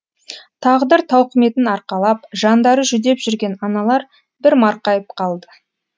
тағдыр тауқыметін арқалап жандары жүдеп жүрген аналар бір марқайып қалды